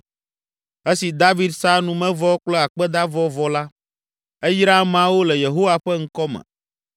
Esi David sa numevɔ kple akpedavɔ vɔ la, eyra ameawo le Yehowa ƒe ŋkɔ me